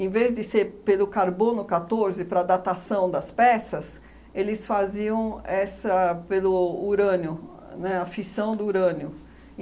vez de ser pelo carbono catorze para a datação das peças, eles faziam essa pelo urânio, né, a fissão do urânio.